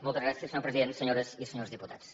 moltes gràcies senyor president senyores i senyors diputats